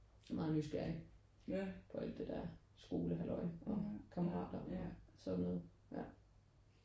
Han er meget nysgerrig på alt det der skole halløj og kammerater og sådan noget ja